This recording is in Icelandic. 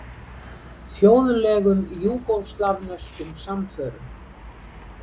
Þjóðlegum júgóslavneskum samförum.